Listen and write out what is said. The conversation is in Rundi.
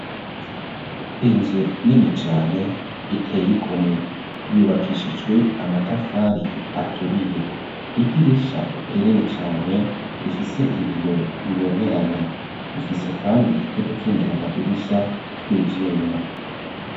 Inzu nini cane, iteye igomwe; yubakishijwe amatafari, aturiye; idirisha rinini cane, rifise ibiyo bibonerana; rifise kandi, n'udukingira amadirisha, tw'ivyuma.